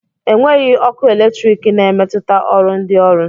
Enweghị ọkụ eletrik na-emetụta ọrụ ndị ọrụ